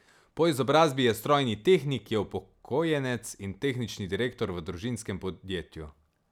Po izobrazbi je strojni tehnik, je upokojenec in tehnični direktor v družinskem podjetju.